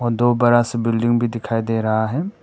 दो बड़ा सा बिल्डिंग भी दिखाई दे रहा है।